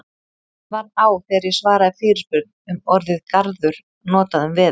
Mér varð á þegar ég svaraði fyrirspurn um orðið garður notað um veður.